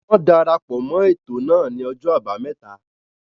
Won darapọ̀ mọ́ ètò náà ni ọjọ́ àbámẹ́ta.